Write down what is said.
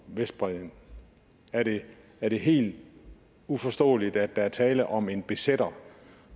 vestbredden er det er det helt uforståeligt at der er tale om en besætter